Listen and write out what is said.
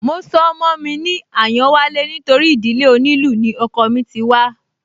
Mo sọ ọmọ mi ní Àyánwálé nítorí ìdílé onílù ni ọkọọ̀ mí ti wá